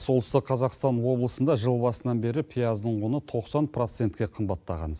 солтүстік қазақстан облысында жыл басынан бері пияздың құны тоқсан процентке қымбаттаған